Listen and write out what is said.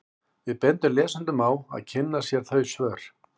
Við bendum lesendum á að kynna sér þau svör.